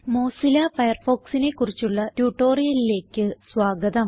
Mozilla Firefoxനെ ക്കുറിച്ചുള്ള tutorialലേയ്ക്ക് സ്വാഗതം